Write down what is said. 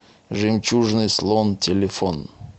жемчужный слон телефон